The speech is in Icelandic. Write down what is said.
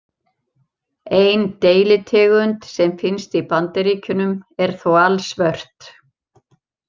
Ein deilitegund sem finnst í Bandaríkjunum er þó alsvört.